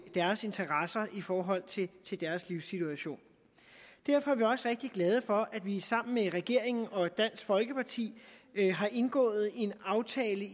deres interesser i forhold til deres livssituation derfor er vi også rigtig glade for at vi sammen med regeringen og dansk folkeparti har indgået en aftale